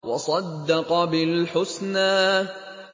وَصَدَّقَ بِالْحُسْنَىٰ